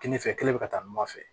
Kɛnɛ fɛ kelen bɛ ka taa ɲɔgɔn nɔfɛ